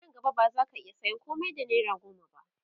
Nan gaba ba zaka iya sayan komai da naira goma ba